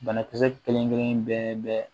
Banakisɛ kelen kelen bɛɛ bɛɛ